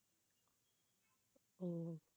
உம்